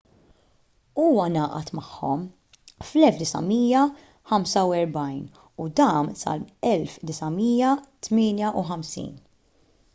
huwa ngħaqad magħhom fl-1945 u dam sal-1958